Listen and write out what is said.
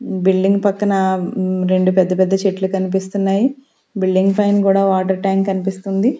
Building పక్కన రెండు పెద్ద పెద్ద చెట్లు కనిపిస్తున్నాయి బిల్డింగ్ పైన కూడా వాటర్ ట్యాంక్ కనిపిస్తుంది.